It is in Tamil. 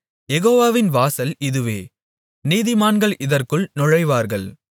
யெகோவாவின் வாசல் இதுவே நீதிமான்கள் இதற்குள் நுழைவார்கள்